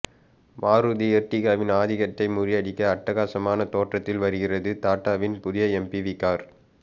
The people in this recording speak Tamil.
மாருதி எர்டிகாவின் ஆதிக்கத்தை முறியடிக்க அட்டகாசமான தோற்றத்தில் வருகிறது டாடாவின் புதிய எம்பிவி கார்